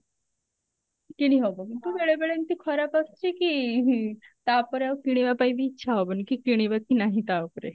କିଣିହବ କିନ୍ତୁ ବେଳେ ବେଳେ ଏମିତି ଖରାପ ଆସୁଛି କି ତାପରେ ଆଉ କିଣିବା ପାଇଁ ବି ଇଛା ହବନି କି କିଣିବ କି ନାହିଁ ତା ଉପରେ